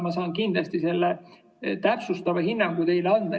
Ma saan kindlasti selle täpsustava hinnangu teile saata.